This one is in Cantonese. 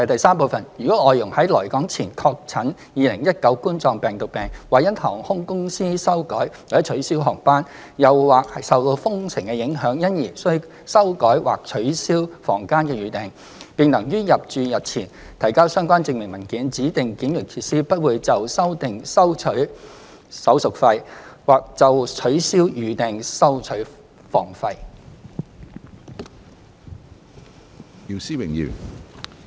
三如外傭在來港前確診2019冠狀病毒病，或因航空公司修改/取消航班，又或受封城影響，因而須修改或取消房間預訂，並能於入住日前提交相關證明文件，指定檢疫設施不會就修訂收取手續費，或就取消預訂收取房費。